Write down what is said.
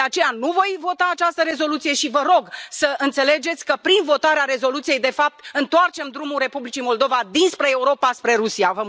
De aceea, nu voi vota această rezoluție și vă rog să înțelegeți că, prin votarea rezoluției, de fapt, întoarcem drumul Republicii Moldova dinspre Europa spre Rusia.